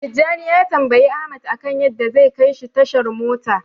Tijjani ya tambayi Ahmad akan yadda zai kaishi tashar mota.